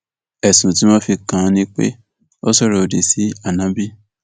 ẹsùn tí wọn fi kàn án ni pé ó sọrọ òdì sí áńóbì